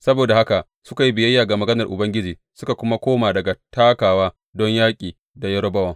Saboda haka suka yi biyayya ga maganar Ubangiji suka kuma koma daga takawa don yaƙi da Yerobowam.